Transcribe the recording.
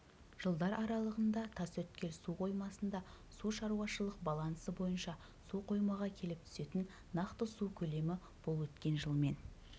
жылдар аралығында тасөткел су қоймасында су шаруашылық балансы бойынша суқоймаға келіп түсетін нақты су көлемі бұл өткен жылмен